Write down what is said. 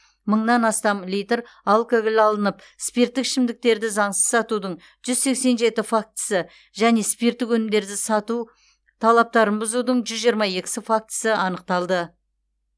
мыңнан астам литр алкоголь алынып спирттік ішімдіктерді заңсыз сатудың жүз сексен жеті фактісі және спирттік өнімдерді сату талаптарын бұзудың жүз жиырма екісі фактісі анықталды